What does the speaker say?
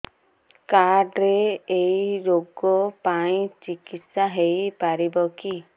card ରେ ଏଇ ରୋଗ ପାଇଁ ଚିକିତ୍ସା ହେଇପାରିବ କି